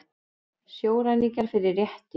Sjóræningjar fyrir rétti